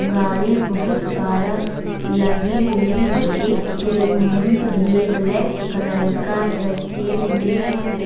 गाड़ी बहुत सारा लगी हुई है एक हेलिमेंट भी ब्लैक कलर का रखे हुए हैं।